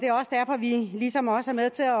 vi ligesom også er med til at